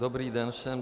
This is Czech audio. Dobrý den všem.